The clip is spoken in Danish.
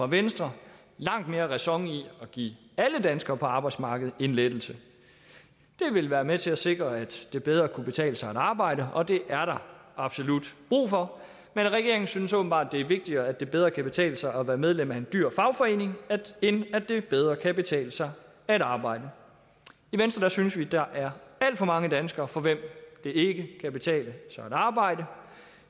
venstre langt mere ræson i at give alle danskere på arbejdsmarkedet en lettelse det ville være med til at sikre at det bedre kunne betale sig at arbejde og det er der absolut brug for men regeringen synes åbenbart at det er vigtigere at det bedre kan betale sig at være medlem af en dyr fagforening end at det bedre kan betale sig at arbejde i venstre synes vi at der er alt for mange danskere for hvem det ikke kan betale sig at arbejde